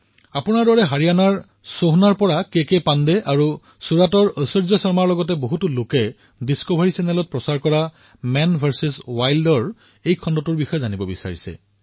আপোনাৰ দৰে হাৰিয়ানাত সোহনাৰ পৰা কে কে পাণ্ডেজী আৰু ছুৰাটৰ ঐশ্বৰ্য শৰ্মাজী আৰু বহু লোকে ডিস্কভাৰীত দেখুওৱা মেন ভাৰ্চেছ ৱাইল্ডৰ বিষয়ে জানিবলৈ বিচাৰিছে